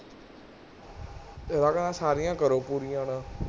ਕਹਿੰਦਾ ਸਾਰੀਆਂ ਕਰੋ ਪੂਰੀਆਂ ਹੁਣ